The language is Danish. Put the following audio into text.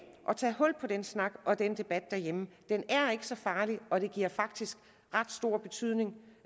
at tage hul på den snak og den debat derhjemme den er ikke så farlig og det har faktisk ret stor betydning